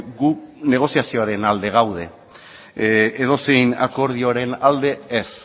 gu negoziazioaren alde gaude edozein akordioaren alde ez